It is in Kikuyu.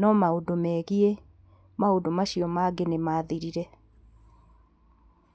no maũndũ megiĩ maũndũ macio mangĩ nĩ mathirire.